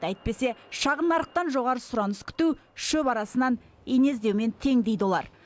әйтпесе шағын нарықтан жоғары сұраныс күту шөп арасынан ине іздеумен тең дейді олар